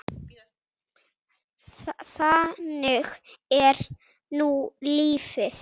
Þannig er nú lífið.